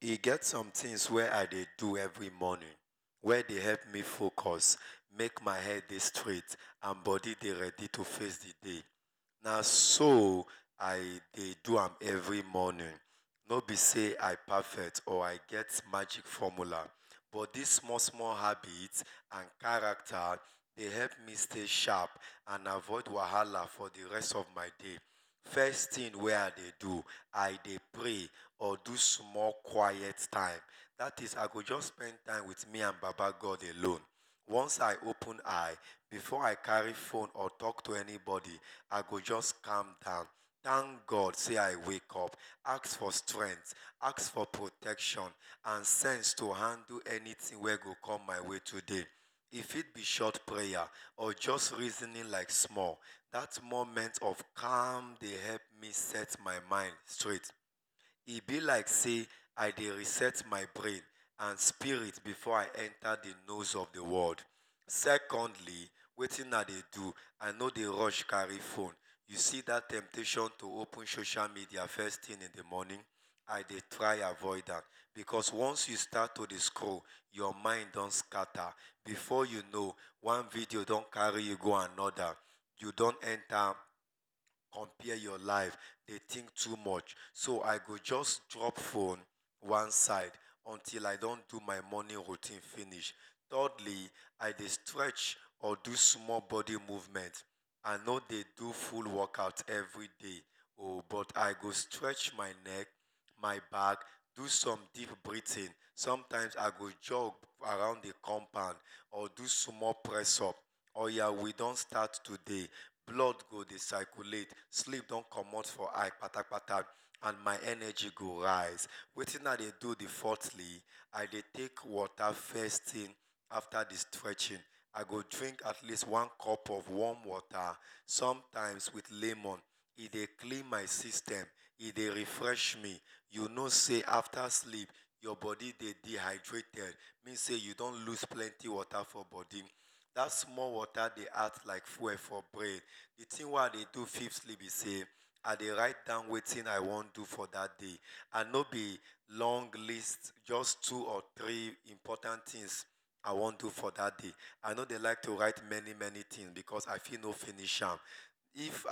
E get some things wey I dey do every morning wey dey help me focus make my body dey and straight ready to face d day, naso I dey do am every morning, no b say I perfect or I get magic formular but dis small small habit and character dey help me stay sharp and avoid wahala for d rest of my day, first thing wey I dey do, I dey pray or do small queit time, dat is I go jus spend time with me and baba God alone, once I open eye, before I carr eye or talk to anybody I go jus calm down thank God sey I way up ask for strength ask for protection and sense to handle anything wey go com my way today e fit b short prayer or just reasoning like small, dat moment of calm dey help me set my mind straight, e b like sey I dey reset my brain and spirit before I enta d nose of d world, secondly, wetin I dey do, I no dey rush carry phone,u see dat temptation to open social media first thing in d morning, I dey try avoid am because once you don start dey scroll your mind don scatter, before u know one video don carry u go anoda, u don enta compare your live dey think too much, so I go just drop phone one side until I don do my morning routine finish, thirdly I dey stretch or do small body movement, I no dey do full body workout everyday oh, but I go stretch my neck my back, do some deep breathing sometimes I go jog around d compound or do small press up, oya we don start today blood go dey circulate, sleep don commot from my eye kpatapkata and my energy go rise, wetin I dey do d fourthly, I dey take water afta d stretching, I go drink atleast one cup of water sometimes with lemon, e dey clean my system, e dey refresh me you know say after sleep your body dey dey dehydrated mean sey u don loose plenty water for body dat small water dey add like fuel for brain. The thing wey I dey do fifthly b say, I dey write down wetin I want for dat day I no dey long list just two or three important things I wan do for that day, I no dey like to wrire many many things because I fit no finish am, if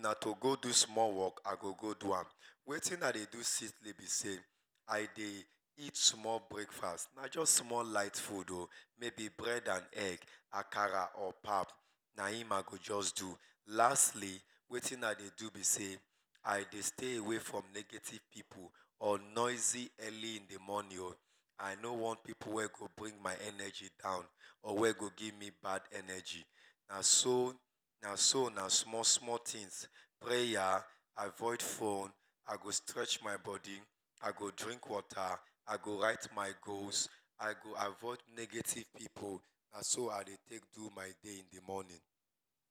na to go do small work, I go go do am, wetin I dey do sixthly b say I dey eat small breakfast na just small light food mayb bread and egg, akara or pap na hin i go just do. Lastly wetin i dey do b say, i dey stay away from negative pipu or noisy early in d morning own, i no want pipu wey go bring my energy down or wey go give me bad energy. Naso, na small small things prayer, avoid phone, i go strech my body, i go drink water, i go write my goals, i go avoid negative pipu, naso i dey take do my day in d morning.